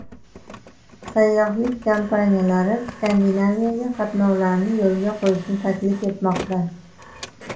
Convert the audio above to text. Sayyohlik kompaniyalari Skandinaviyaga qatnovlarni yo‘lga qo‘yishni taklif etmoqda.